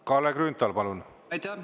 Kalle Grünthal, palun!